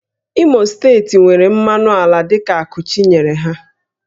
Imo steeti nwere mmanụ ala dịka ákụ́ Chi nyere ha